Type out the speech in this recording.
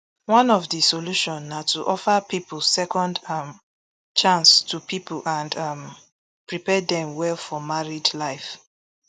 one of di solution na to offer pipo second um chance to pipo and um prepare dem well for married life